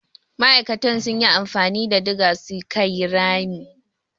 Ma'akatan sun yi amfani da diga su ka yi rami.